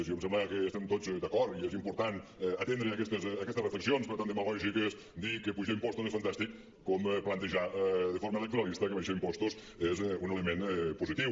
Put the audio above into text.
jo em sembla que estem tots d’acord i és important atendre aquestes re·flexions però tant demagògic és dir que apujar impostos és fantàstic com plantejar de forma electoralista que abaixar impostos és un element positiu